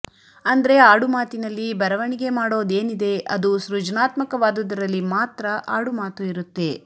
ಅಂದ್ರೆ ಆಡುಮಾತಿನಲ್ಲಿ ಬರವಣಿಗೆ ಮಾಡೋದೇನಿದೆ ಅದು ಸೃಜನಾತ್ಮಕವಾದುದರಲ್ಲಿ ಮಾತ್ರ ಆಡುಮಾತು ಇರುತ್ತೆ